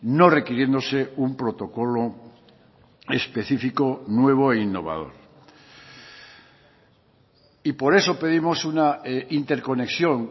no requiriéndose un protocolo específico nuevo e innovador y por eso pedimos una interconexión